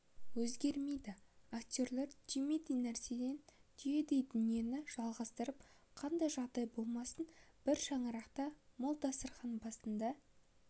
өзгермейді актерлар түймедей нәрседен түйедей дүниені жалғастырып қандай жағдай болмасын бір шаңырақта мол дастархан басында